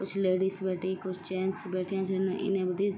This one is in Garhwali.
कुछ लेडीज बैठीं कुछ जेंट्स बैठ्याँ छिन इनै बि।